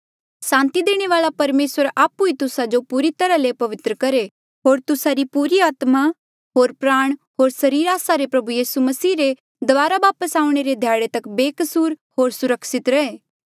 सांति देणे वाल्आ परमेसर आपु ई तुस्सा जो पूरी तरहा ले पवित्र करहे होर तुस्सा री पूरी आत्मा होर प्राण होर सरीर आस्सा रे प्रभु यीसू मसीह रे दबारा वापस आऊणें रे ध्याड़े तक बेकसूर होर सुरक्षित रहे